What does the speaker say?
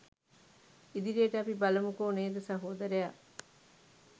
ඉදිරියට අපි බලමුකෝ නේද සහෝදරයා